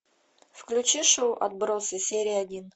включи шоу отбросы серия один